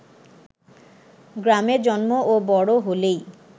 গ্রামে জন্ম ও বড় হলেই